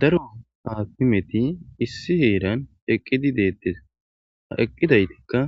Daro hakimmeti issi Hera eqqidi dettes ha eqqidaytikka